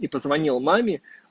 и позвонил маме